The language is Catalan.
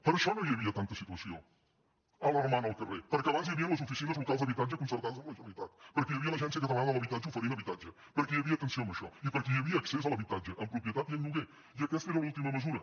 per això no hi havia tanta situació alarmant al carrer perquè abans hi havien les oficines locals d’habitatge concertades amb la generalitat per·què hi havia l’agència catalana de l’habitatge oferint habitatge perquè hi havia atenció amb això i perquè hi havia accés a l’habitatge en propietat i en lloguer i aquesta era l’última mesura